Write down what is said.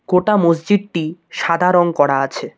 গোটা মসজিদটি সাদা রং করা আছে।